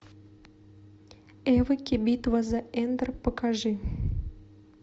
эвоки битва за эндор покажи